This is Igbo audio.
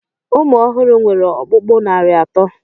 Ụmụ ọhụrụ nwere ọkpụkpụ narị atọ.